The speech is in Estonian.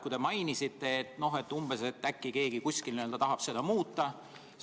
Te mainisite, et äkki keegi kusagil tahab seda muuta.